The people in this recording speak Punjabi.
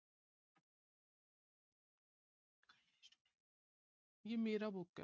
ਯੇ ਮੇਰਾ book ਹੈ।